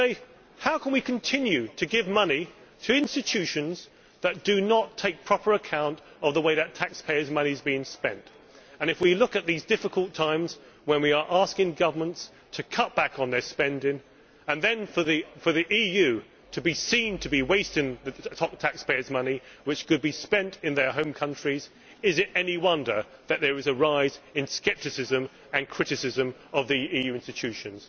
They ask how they can continue to give money to institutions that do not take proper account of the way that taxpayers' money is being spent. In these difficult times, when we are asking governments to cut back on their spending, yet the EU is seen to be seen to be wasting taxpayers' money which could be spent in their home countries, is it any wonder that there is a rise in Euroscepticism and criticism of the EU institutions?